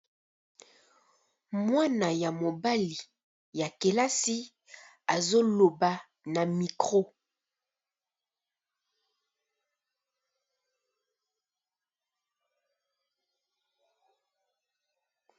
Mwana ya mobali ya kelasi azo loba na micro .